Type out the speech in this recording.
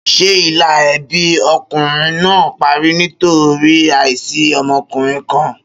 Ṣé ìlà ẹbí ọkùnrin náà parí nítorí àìsí ọmọkùnrin kan?